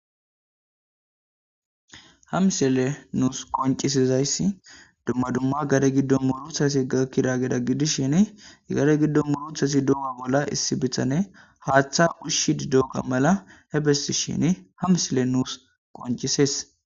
ha msiley nuus qoncisizayssi dumma dumma gade giddon murutati gakkidagetta gidishshin gade giddo muruttasi dolana malla issi bitane haaththa ushshidi dogga mala he bessiishshini ha msilley nuus qoncisees